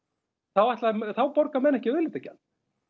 þá borga menn ekki auðlindagjald